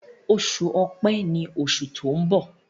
Oṣù Ọ̀pẹ́ ní oṣù to'n bọ.